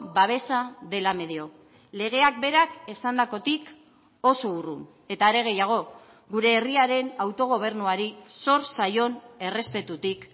babesa dela medio legeak berak esandakotik oso urrun eta are gehiago gure herriaren autogobernuari zor zaion errespetutik